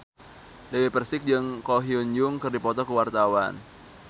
Dewi Persik jeung Ko Hyun Jung keur dipoto ku wartawan